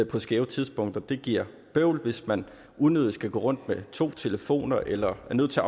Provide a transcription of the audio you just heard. på skæve tidspunkter det giver bøvl hvis man unødigt skal gå rundt med to telefoner eller er nødt til